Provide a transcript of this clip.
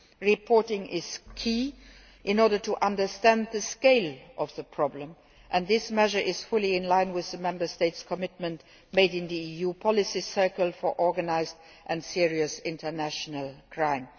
Reporting is key in order to understand the scale of the problem, and this measure is fully in line with the Member States' commitment made in the EU policy cycle on organised and serious international crime.